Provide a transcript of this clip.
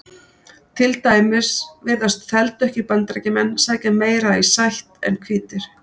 Til dæmis virðast þeldökkir Bandaríkjamenn sækja meira í sætt en hvítir.